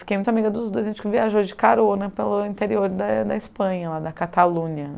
Fiquei muito amiga dos dois, a gente viajou de carona pelo interior da da Espanha, da Catalunha.